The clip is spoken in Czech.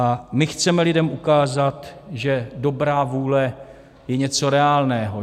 A my chceme lidem ukázat, že dobrá vůle je něco reálného.